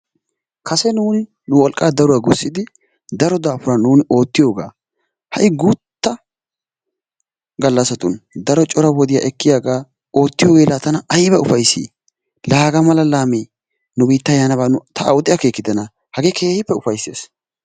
Kase nu wolqaa daruwa gussidi daro daafuran nu oottiyogaa ha'i guutta gallasatun daro cora wodiya ekkiyaga oottiyoge la tana ayba ufayssi la hagaa mala laamee nu biittaa yaanaaba ta awude akeekkidana hagee keehippe ufayssees.